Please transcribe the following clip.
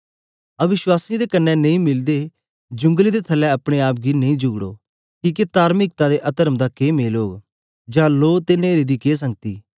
अवश्वासीयें दे कन्ने नेई मिलदे जूंगले दे थलै अपने आप गी नेई जुगड़ो किके तार्मिकता ते अतर्म दा के मेल जोल जां लो ते न्हेरे दी के संगति